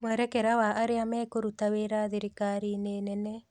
Mwerekera wa arĩa mekũruta wĩra thirikari-inĩ nene